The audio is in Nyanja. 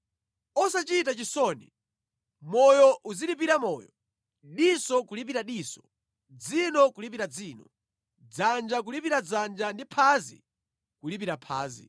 Osachita chisoni, moyo uzilipira moyo, diso kulipira diso, dzino kulipira dzino, dzanja kulipira dzanja ndi phazi kulipira phazi.